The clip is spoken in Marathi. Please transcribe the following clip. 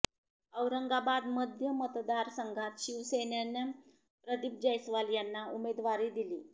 औरंगाबाद मध्य मतदारसंघात शिवेसनेनं प्रदीप जैस्वाल यांना उमेदवारी दिली